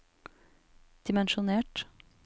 dimensjonert